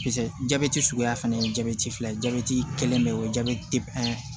Peseke jabɛti suguya fana ye jabɛti fila ye jabɛti kelen be yen o jati pɛn